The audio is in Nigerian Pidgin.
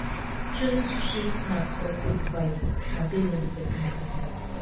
choosing street snacks or quick bites na based on di persin appetite